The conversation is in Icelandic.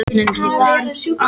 En það er bara önnur spurning.